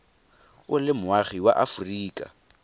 o le moagi wa aforika